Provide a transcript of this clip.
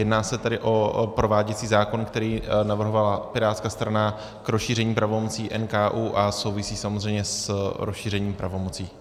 Jedná se tedy o prováděcí zákon, který navrhovala pirátská strana k rozšíření pravomocí NKÚ a souvisí samozřejmě s rozšířením pravomocí.